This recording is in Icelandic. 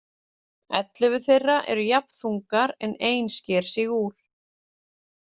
Ellefu þeirra eru jafn þungar en ein sker sig úr.